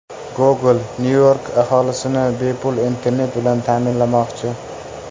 Google Nyu-York aholisini bepul internet bilan ta’minlamoqchi.